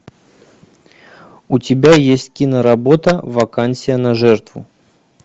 у тебя есть киноработа вакансия на жертву